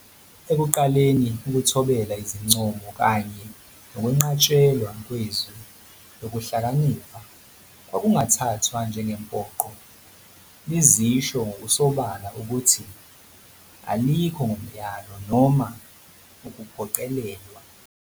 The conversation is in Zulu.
Ekuqaleni, ukuthobela izincomo kanye nokwenqatshelwa kweZwi Lokuhlakanipha kwakungathathwa njengempoqo- lizisho ngokusobala ukuthi "alikho ngomyalo noma ukuphoqelelwa".